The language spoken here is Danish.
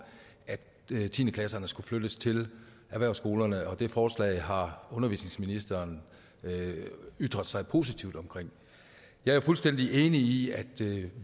at tiende klasserne skulle flyttes til erhvervsskolerne det forslag har undervisningsministeren ytret sig positivt om jeg er fuldstændig enig i at